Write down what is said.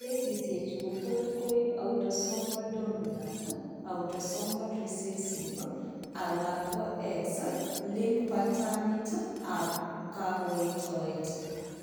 Kesisiek chu kotot koib autosomal dominant, autosomal recessive, alako X linked patternit ab kakoitoet